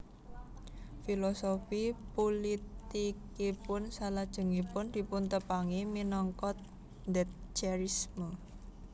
Filosofi pulitikipun salajengipun dipuntepangi minangka Thatcherisme